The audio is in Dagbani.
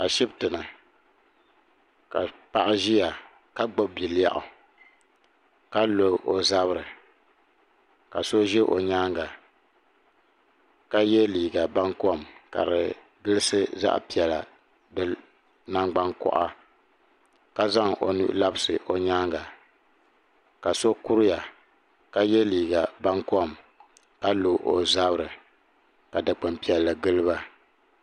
Ashibiti ni ka paɣa ʒiya ka gbubi bilɛɣu ka lo o zabiri ka so ʒe o nyaaŋa ka ye liiga bankɔm ka di gilisi zaɣ'piɛla di nangbankɔɣa ka zaŋ o nuhi labisi o nyaaŋa ka so kuriya ka ye liiga bankɔm ka lo o zabiri ka dukpuni piɛlli gili ba.